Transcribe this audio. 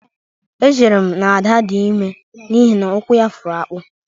Echere m na Ada dị ime n'ihi na ụkwụ ya fụrụ akpụ